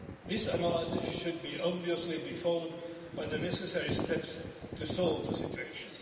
This analysis should obviously be followed by the necessary steps to solve the situation.